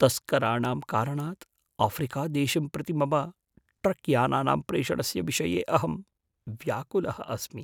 तस्कराणां कारणात् आफ़्रिकादेशं प्रति मम ट्रक्यानानां प्रेषणस्य विषये अहं व्याकुलः अस्मि।